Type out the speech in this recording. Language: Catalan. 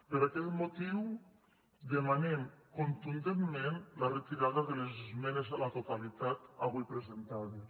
per aquest motiu demanem contundentment la retirada de les es·menes a la totalitat avui presentades